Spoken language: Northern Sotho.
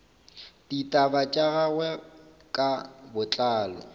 ditaba tša gagwe ka botlalo